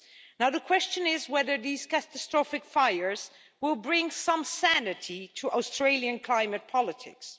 Now the question is whether these catastrophic fires will bring some sanity to Australian climate politics.